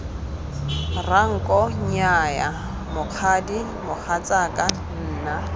ranko nnyaya mokgadi mogatsaka nna